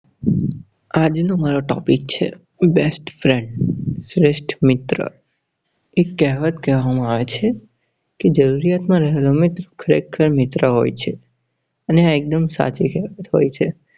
આજ નો મારો topic છે Best-Friend શ્રેષ્ઠ મિત્ર. એક કહેવત કહું આજે કે જરૂરત માં રહે હાજર એ ખરેખર મિત્ર હોય છે. અને આ એક્દુમ સાચી કેહવત છે.